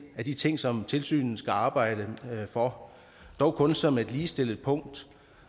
af de ting som tilsynet skal arbejde for dog kun som et ligestillet punkt